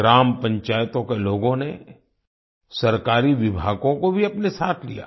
ग्राम पंचायतों के लोगों ने सरकारी विभागों को भी अपने साथ लिया